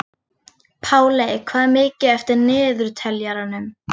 Páley, hvað er mikið eftir af niðurteljaranum?